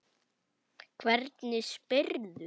Hvernig spyrðu?